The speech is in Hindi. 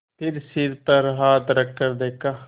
फिर सिर पर हाथ रखकर देखा